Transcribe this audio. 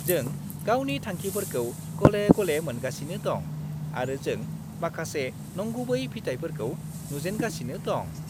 जों गावनि थांखिफोरखौ गले-गले मोनगासिनो दं, आरो जों माखासे नंगुबै फिथाइफोरखौ नुजेनगासिनो दं।